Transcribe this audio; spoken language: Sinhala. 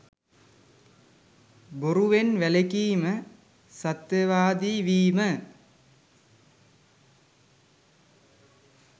බොරුවෙන්, වැළකීම, සත්‍යවාදී වීම,